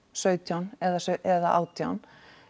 sautján eða eða átján